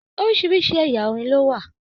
Orísirísi ẹ̀yà orin ló wà.